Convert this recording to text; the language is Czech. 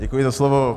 Děkuji za slovo.